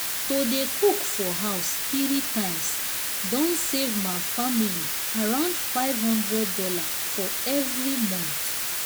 to dey cook for house 3 times don save ma family around five hundred dollars for every month.